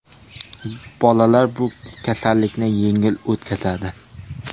Bolalar bu kasallikni yengil o‘tkazadi.